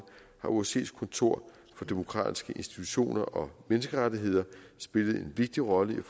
har osce’s kontor for demokratiske institutioner og menneskerettigheder spillet en vigtig rolle i